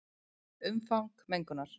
Umfang mengunar